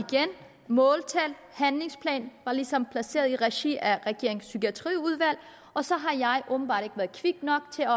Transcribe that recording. at måltal handlingsplan ligesom var placeret i regi af regeringens psykiatriudvalg og så har jeg åbenbart ikke været kvik nok til at